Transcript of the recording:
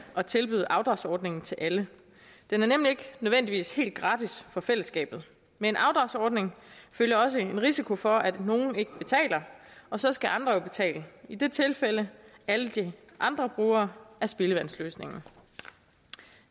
at tilbyde afdragsordningen til alle den er nemlig ikke nødvendigvis helt gratis for fællesskabet med en afdragsordning følger også en risiko for at nogle ikke betaler og så skal andre jo betale i dette tilfælde alle de andre brugere af spildevandsløsningen